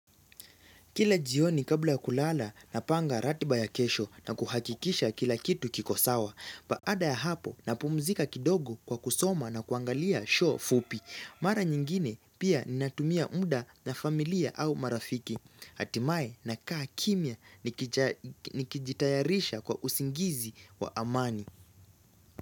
Kila jioni kabla kulala na panga ratiba ya kesho na kuhakikisha kila kitu kikosawa. Baada ya hapo na pumzika kidogo kwa kusoma na kuangalia show fupi. Mara nyingine pia ni natumia mda na familia au marafiki. Atimae na kaa kimia nikijitayarisha kwa usingizi wa amani.